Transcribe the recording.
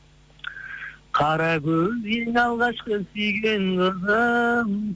қаракөз ең алғашқы сүйген қызым